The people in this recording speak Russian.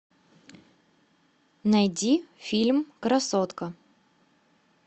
найди фильм красотка